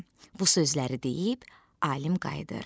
Bu sözləri deyib alim qayıdır.